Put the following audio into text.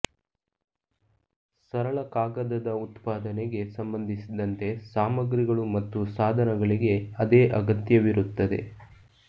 ಸರಳ ಕಾಗದದ ಉತ್ಪಾದನೆಗೆ ಸಂಬಂಧಿಸಿದಂತೆ ಸಾಮಗ್ರಿಗಳು ಮತ್ತು ಸಾಧನಗಳಿಗೆ ಅದೇ ಅಗತ್ಯವಿರುತ್ತದೆ